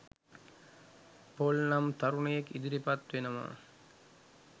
Paul නම් තරුණයෙක් ඉදිරිපත් වෙනවා